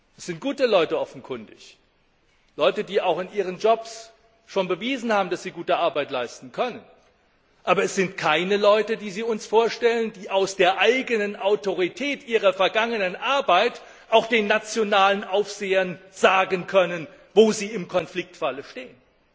Es sind offenkundig gute Leute, die auch in ihren Jobs schon bewiesen haben, dass sie gute Arbeit leisten können, aber die uns vorgestellten Personen sind keine Leute, die aus der eigenen Autorität ihrer vergangenen Arbeit auch den nationalen Aufsehern sagen können, wo sie im Konfliktfalle stehen.